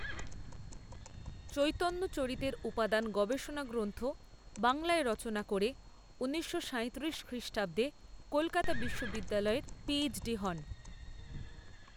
চৈতন্যচরিতের উপাদান গবেষণা গ্ৰন্থ বাংলায় রচনা করে ঊনিশশো সাঁইত্রিশ খ্রিষ্টাব্দে কলকাতা বিশ্ববিদ্যালয়ের পিএইচডি হন।